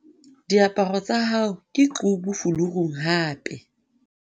diaparo tsa hao ke qubu fulurung hape